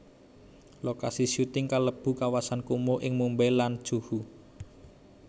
Lokasi syuting kalebu kawasan kumuh ing Mumbai lan Juhu